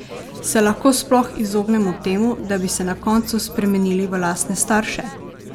Se lahko sploh izognemo temu, da bi se na koncu spremenili v lastne starše?